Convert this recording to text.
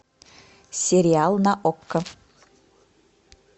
сериал на окко